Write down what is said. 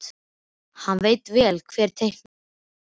Hann veit vel hver teiknaði þessa mynd.